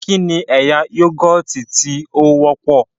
Kí ni ẹ̀yà Yúgọ̀ọ̀tì tí ó wọ́pọ̀?